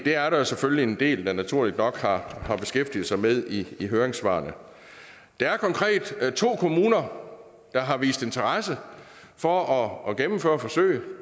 er der selvfølgelig en del der naturligt nok har har beskæftiget sig med i høringssvarene der er konkret to kommuner der har vist interesse for at gennemføre forsøget